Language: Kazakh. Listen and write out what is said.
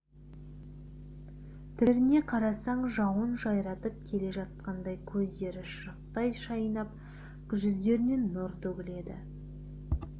түрлеріне қарасаң жауын жайратып келе жатқандай көздері шырақтай жайнап жүздерінен нұр төгіледі